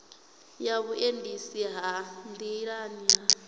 ya vhuendisi ha nḓilani ha